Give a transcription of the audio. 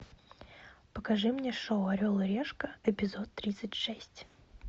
покажи мне шоу орел и решка эпизод тридцать шесть